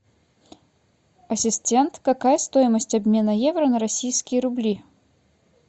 ассистент какая стоимость обмена евро на российские рубли